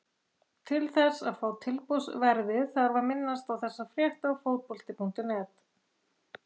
Til þess að fá tilboðsverðið þarf að minnast á þessa frétt á Fótbolti.net.